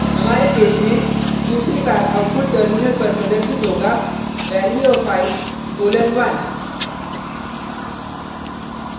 हमारे केस में दूसरी बार आउटपुट टर्मिनल पर प्रदर्शित होगा value of i colon 1